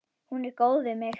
Hún er góð við mig.